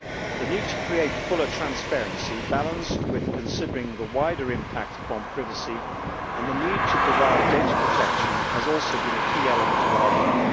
The need to create fuller transparency, balanced with considering the wider impact upon privacy and the need to provide data protection, has also been a key element of our work.